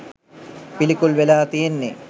පිළිකුල් වෙලා තියෙන්නේ.